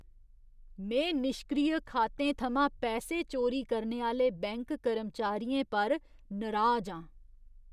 में निश्क्रिय खातें थमां पैसे चोरी करने आह्‌ले बैंक कर्मचारियें पर नराज आं।